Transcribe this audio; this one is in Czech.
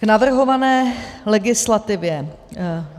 K navrhované legislativě.